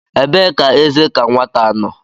Ebee ka eze ka nwata nọ?